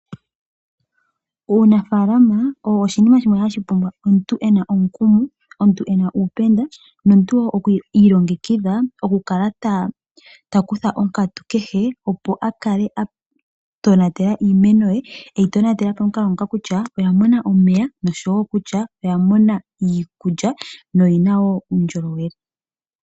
Uunafaalama owo oshinima shimwe hashi pumbwa omuntu e na omukumo, omuntu e na uupenda, nomuntu iilongekidha okukala ta kutha onkatu kehe opo a kale a tonatela iimeno ye, e yi tonatela momukalo ngoka kutya oya mona omeya nosho wo okutya oya mona iikulya, noyi na wo uundjolowele.